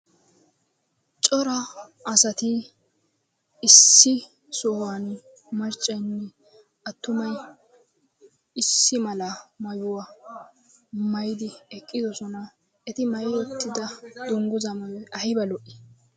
Cora asati issi sohuwan maccanne attumay issi mala maayuwa maayyidi eqqidoosona. Eti maayti uttida dungguza maayyoy aybba lo"i!